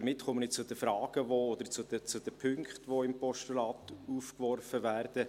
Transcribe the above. Damit komme ich zu den Fragen oder den Punkten, die im Postulat aufgeworfen werden.